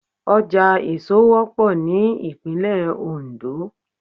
Ọjà èso wọ́pọ̀ ní ìpínlẹ̀ Oǹdó